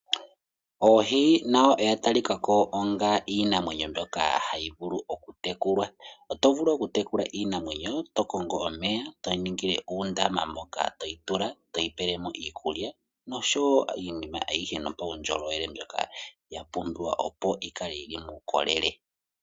Oohi nadho odhatalikako onga iinamwenyo mbyoka hayi vulu okutekulwa, oto vulu okutekula iinamwenyo tokongo omeya toyi ningile uundama moka toyi tula toyi pele mo iikulya nosho wo iinima ayihe yopaundjolowele mbyoka yapumbiwa opo yikale yili muukolele.